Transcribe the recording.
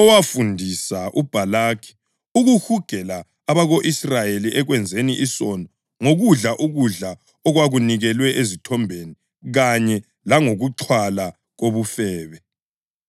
owafundisa uBhalaki ukuhugela abako-Israyeli ekwenzeni isono ngokudla ukudla okwakunikelwe ezithombeni kanye langokuxhwala kobufebe.